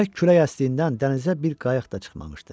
Bərk külək əsdiyindən dənizə bir qayıq da çıxmamışdı.